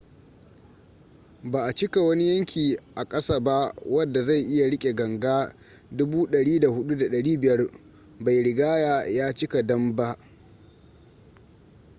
ba a cika wani yanki a kasa ba wadda zai iya rike ganga 104,500 bai rigya ya cika dam ba